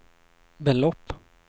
belopp